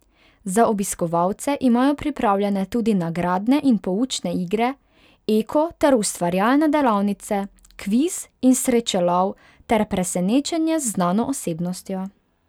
Za obiskovalce imajo pripravljene tudi nagradne in poučne igre, eko ter ustvarjalne delavnice, kviz in srečelov ter presenečenje z znano osebnostjo.